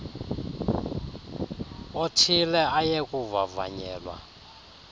othile aye kuvavanyelwa